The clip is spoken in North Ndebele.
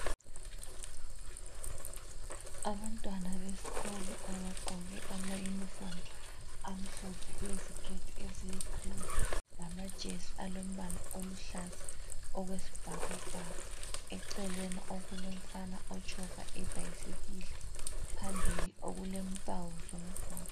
Abantwana besikolo abagqoke ama uniform amhlophe leziketi eziyi cream lamajesi alombala oluhlaza okwesibhakabhaka. Eceleni okulomfana otshova ibhasikili, phambili okulempawu zomgwaqo.